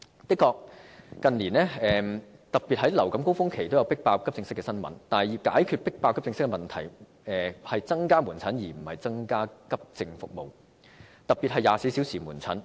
的確，近年特別是在流感高峰期均有"迫爆"急症室的新聞，但要解決"迫爆"急症室的問題，方法應是增加門診而非急症服務，特別是24小時門診服務。